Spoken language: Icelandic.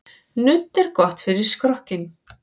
Nudd er gott fyrir skrokkinn.